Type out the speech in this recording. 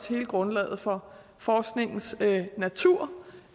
hele grundlaget for forskningens natur